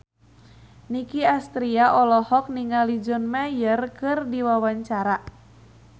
Nicky Astria olohok ningali John Mayer keur diwawancara